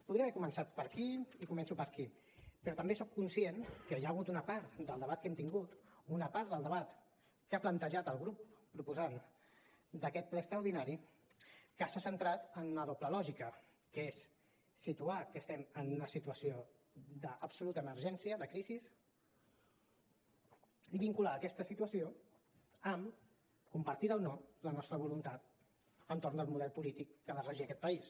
podria haver començat per aquí i començo per aquí però també soc conscient que hi ha hagut una part del debat que hem tingut una part del debat que ha plantejat el grup proposant d’aquest ple extraordinari que s’ha centrat en una doble lògica que és situar que estem en una situació d’absoluta emergència de crisi i vincular aquesta situació amb compartida o no la nostra voluntat entorn del model polític que ha de regir aquest país